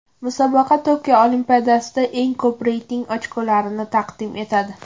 Musobaqa Tokio Olimpiadasiga eng ko‘p reyting ochkolarini taqdim etadi.